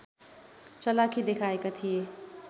चलाखी देखाएका थिए